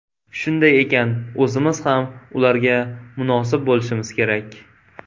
Shunday ekan, o‘zimiz ham ularga munosib bo‘lishimiz kerak.